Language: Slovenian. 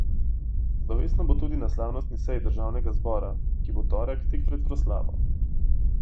Slovesno bo tudi na slavnostni seji državnega zbora, ki bo v torek tik pred proslavo.